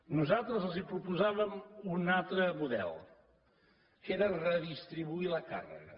nosaltres els proposàvem un altre model que era redistribuir la càrrega